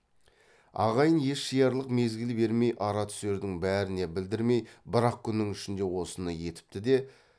ағайын ес жиярлық мезгіл бермей ара түсердің бәріне білдірмей бір ақ күннің ішінде осыны етіпті де